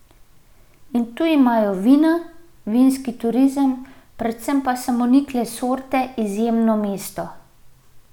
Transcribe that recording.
In tu imajo vina, vinski turizem, predvsem pa samonikle sorte izjemno mesto.